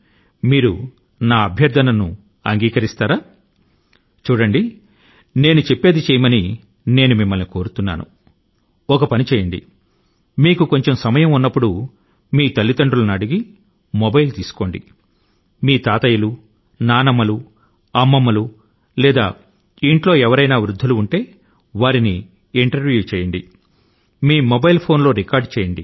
మీకు వీలు చిక్కినప్పుడు మీ తల్లిదండ్రుల ను మొబైల్ అడిగి తీసుకొని మీ తాత అవ్వ లు లేదా ఇంట్లో పెద్దవారి ఇంటర్వ్యూ ను రికార్డ్ చేయండి